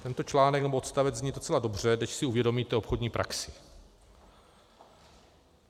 Tento článek, nebo odstavec zní docela dobře, než si uvědomíte obchodní praxi.